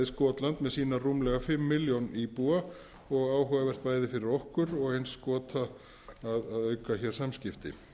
skotland með rúmlega fimm milljón íbúa og áhugavert bæði fyrir okkur og eins skota að auka hér samskipti